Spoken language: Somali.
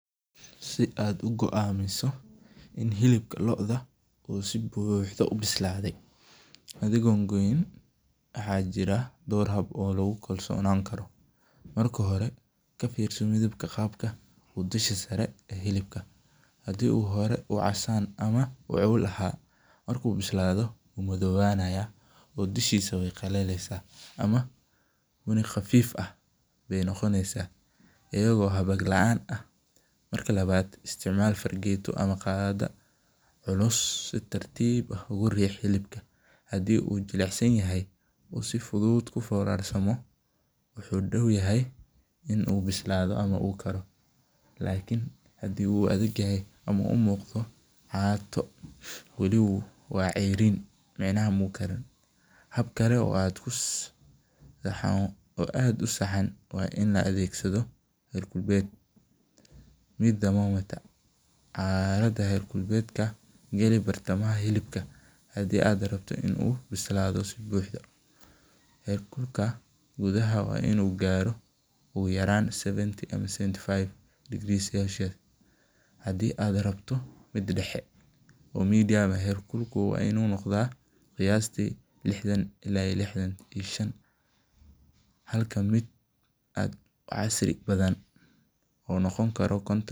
Si aad uguamiso in hilibka looda uusi buhdo ubislade, adhigo goyn waxa jire door haab oo lagukolsonani karo, marka hore kafirso midabka gaabka ee dusha saree ee hilibka, hadii uu hore casan ama ewel aha marku bislado wu madowanaya, oo dushisa way qalaleysa, ama gafiif ayay nogoneysa, iyago hagaar laan ah, marka lawad isticmal fargeto ama gaada culus si tarti ah ogurih xilibka hadhii uu jikicsanyaxah uu si fudud uforarsamo wuxu dowyahay in uu bislado ama uu karoo, lakin hadhi uu adegyahay ama umugdo catoo, wali wa ceyrin, midnaha mukariin, habkale oo aad usahan wa in laadegsado heat thermometer alada heer kulkedka gali bartamaha hilibka hadhi aad rabto ini bislado si buxda, heer kulka gudaha wa inu garoo oyuyaran seventy ama seventhy five degre hadi aad rabto mid dahee oo medium heer kulka wa inu nogda qiyasti lixdan ila iyo lixdan iyo shan, halka mid aad wax casri badan uunogonkaro konton.